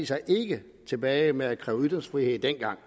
sig ikke tilbage med at kræve ytringsfrihed dengang